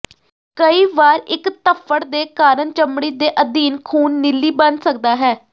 ਕਈ ਵਾਰ ਇੱਕ ਧੱਫ਼ੜ ਦੇ ਕਾਰਨ ਚਮੜੀ ਦੇ ਅਧੀਨ ਖੂਨ ਨੀਲੀ ਬਣ ਸਕਦਾ ਹੈ